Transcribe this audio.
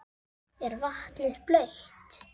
Er vatnið blautt?